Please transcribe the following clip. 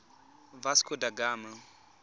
vasco da gama